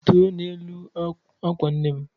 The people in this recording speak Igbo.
Rituo n'elu ákwà nne m